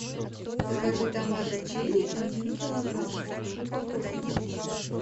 закажи томаты черри один килограмм в упаковке